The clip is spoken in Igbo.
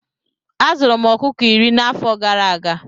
Azụrụ m ọkụkọ iri na afọ gara aga